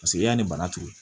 Paseke yanni bana turu